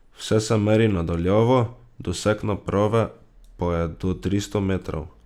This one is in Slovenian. Vse se meri na daljavo, doseg naprave pa je do tristo metrov.